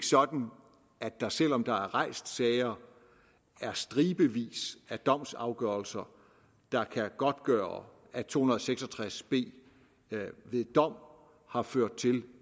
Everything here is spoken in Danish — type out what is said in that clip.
sådan at der selv om der er rejst sager er stribevis af domsafgørelser der kan godtgøre at § to hundrede og seks og tres b ved dom har ført til